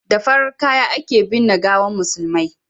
da farar kaya a ke binne gawan musulmai